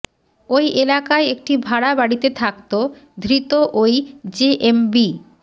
ওই এলাকায় একটি ভাড়া বাড়িতে থাকত ধৃত ওই জেএমবি